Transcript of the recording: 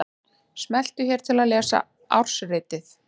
Smelltu hér til að lesa ársritið